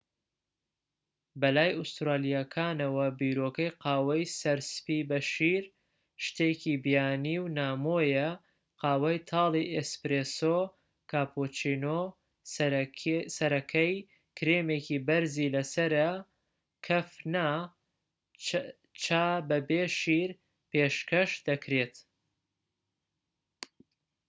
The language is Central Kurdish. بەلای ئوستورالیەکانەوە، بیرۆکەی قاوەی 'سەر سپی بە شیر' شتێکی بیانی و نامۆیە. قاوەی تاڵی 'ئێسپرێسۆ'، کاپۆچینۆ سەرەکەی کرێمێکی بەرزی لەسەرە کەف نا، چا بەبێ شیر پێشکەش دەکرێت